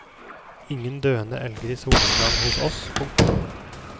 Ingen døende elger i solnedgang hos oss. punktum